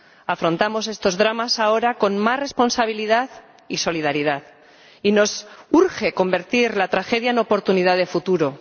Afrontamos estos dramas ahora con más responsabilidad y solidaridad, y nos urge convertir la tragedia en oportunidad de futuro.